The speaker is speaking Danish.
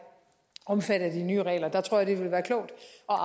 omfattet af de nye regler jeg tror det vil være klogt